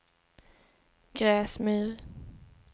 Gräsmyr